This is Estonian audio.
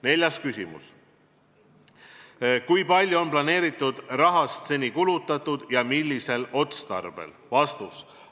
Neljas küsimus: kui palju on planeeritud rahast seni kulutatud ja millisel otstarbel?